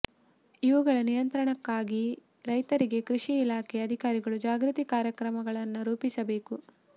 ಇವುಗಳ ನಿಯಂತ್ರಣಕ್ಕಾಗಿ ರೈತರಿಗೆ ಕೃಷಿ ಇಲಾಖೆ ಅಧಿಕಾರಿಗಳು ಜಾಗೃತಿ ಕಾರ್ಯಕ್ರಮಗಳನ್ನ ರೂಪಿಸಬೇಕು